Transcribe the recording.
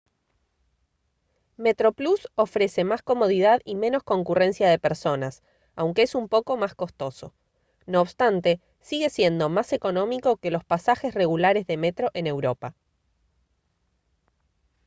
metroplus ofrece más comodidad y menos concurrencia de personas aunque es un poco más costoso no obstante sigue siendo más económico que los pasajes regulares de metro en europa